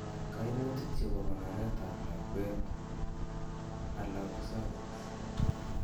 Koimutik chebo konoreet ab lakweet ala ko cervix